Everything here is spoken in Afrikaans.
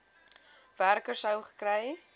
werker sou gekry